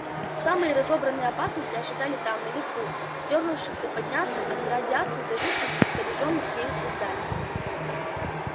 самые разобранные опасности ожидали там наверху дёрнувшихся подняться от радиации до жутких искорёженных ею созданий